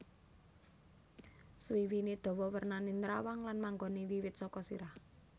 Suwiwiné dawa wernané nrawang lan manggoné wiwit saka sirah